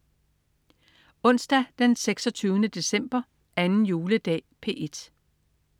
Onsdag den 26. december. 2. juledag - P1: